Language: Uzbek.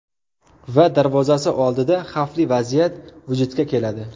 Va darvozasi oldida xavfli vaziyat vujudga keladi.